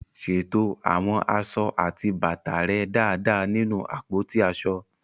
Ṣètò àwọn aṣọ àti bàtà rẹ dáadáa nínú àpótí aṣọ.